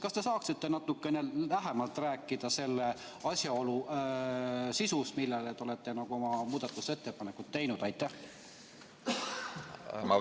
Kas te saaksite natukene lähemalt rääkida selle asjaolu sisust, mille kohta te olete oma muudatusettepanekud teinud?